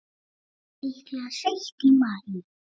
Líklega seint í maí.